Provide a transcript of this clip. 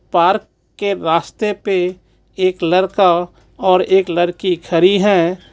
Park के रास्ते पे एक लड़का और एक लड़की खड़ी है.